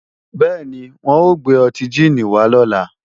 Bẹ́ẹ̀ni, wọ́n ò gbé ọtí jíìnì wá lọ́la